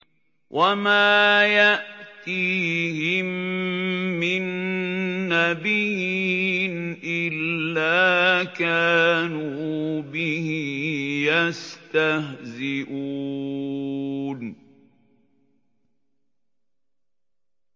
وَمَا يَأْتِيهِم مِّن نَّبِيٍّ إِلَّا كَانُوا بِهِ يَسْتَهْزِئُونَ